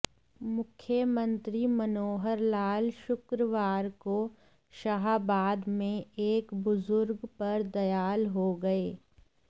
मुख्यमंत्री मनोहर लाल शुक्रवार को शाहाबाद में एक बुजुर्ग पर दयाल हो गए